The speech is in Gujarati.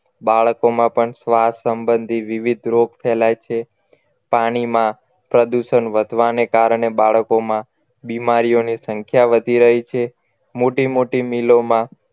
બાળકોમાં પણ શ્વાસ સંબંધીત વિવિધ રોગ ફેલાય છે પાણીમાં પ્રદૂષણ વધવાને કારણે બાળકોમાં બીમારીઓની સંખ્યા વધી રહી છે મોટી મોટી મિલોમાં